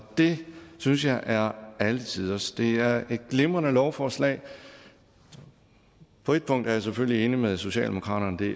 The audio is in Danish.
det synes jeg er alletiders det er et glimrende lovforslag og på et punkt er jeg selvfølgelig enig med socialdemokratiet